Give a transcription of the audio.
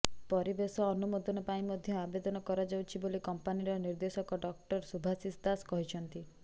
ପରିବେଶ ଅନୁମୋଦନ ପାଇଁ ମଧ୍ୟ ଆବେଦନ କରାଯାଇଛି ବୋଲି କଂପାନିର ନିର୍ଦେଶକ ଡକ୍ଟର ଶୁଭାଶିଷ ଦାସ କହିଛନ୍ତି